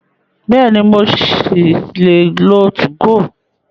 Bẹ́ẹ̀ni, mo ṣì lè lo 2go.